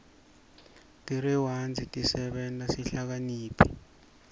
tirewadzi tisenta sihlakaniphe